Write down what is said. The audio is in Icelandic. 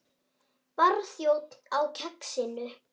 Barþjónn á Kexinu?